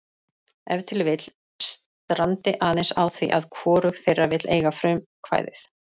Ef til vill strandi aðeins á því að hvorug þeirra vill eiga frumkvæðið.